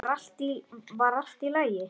Var allt í lagi?